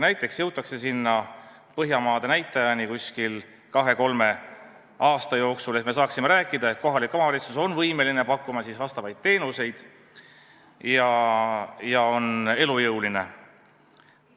Näiteks jõutakse siis Põhjamaade näitajani kahe-kolme aasta jooksul, nii et me saaksime rääkida, et kohalik omavalitsus on võimeline pakkuma teenuseid ja on elujõuline.